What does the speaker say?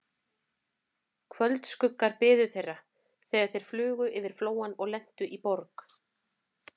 Kvöldskuggar biðu þeirra, þegar þeir flugu yfir Flóann og lentu í Borg